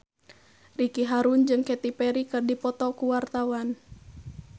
Ricky Harun jeung Katy Perry keur dipoto ku wartawan